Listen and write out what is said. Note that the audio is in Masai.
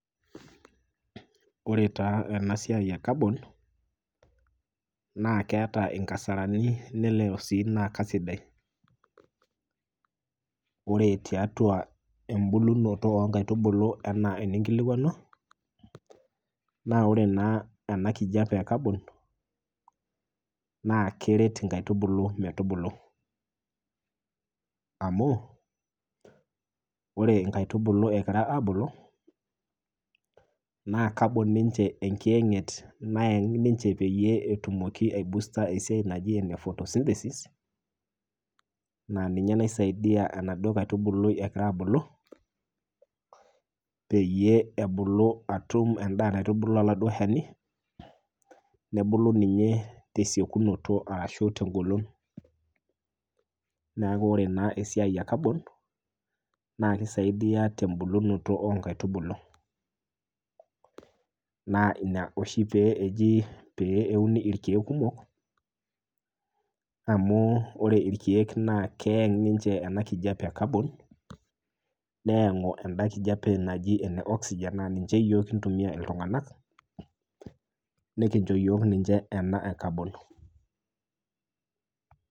Ore taa ena siai ecabon naa keta inkasarani nelelelek na kaisaidia ,ore tiatua ena enkitubulunoto inkaitubulu enaa eninkilikwanua, naa ore naa ena kijepe ecabon naa keret nkaitubulu metubulu amu ore nkaitubulu egira abulu naa kabon enkiyanget nayeng ninche peyie etumoki aibusta esiai naji ene photosynthesis naa ninye naisaidia enaduo kaitubului nagira abulu peyie ebulu atum endaa naitubulu oladuo shani ,nebulu ninye tesiokinoto ashu tengolon .neeku ore naa esiai ekabon naa keisidai tembulunoto oonkaitubulu ,naa ina oshi pee euni irkeek kumok amu ore irkeek naa keeng ninche ena kijepe ekabon nayangu enda kijepe naji ena oxygen naa ninche yiok kintumiya iltunganak nikincho yiok ninche ena ekabon.